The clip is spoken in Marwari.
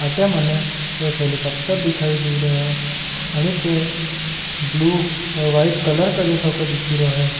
अटे मने एक हेलीकॉप्टर दिखाई दे रहो है ब्लू और व्हाइट कलर का थो दिख रहो है।